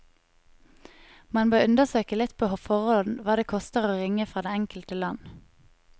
Man bør undersøke litt på forhånd hva det koster å ringe fra det enkelte land.